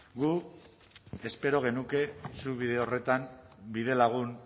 guk espero genuke zuk bide horretan bide lagun